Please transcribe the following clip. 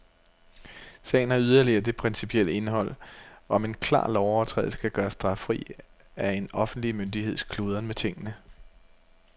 Sagen har yderligere det principielle indhold, om en klar lovovertrædelse kan gøres straffri af en offentlig myndigheds kludren med tingene.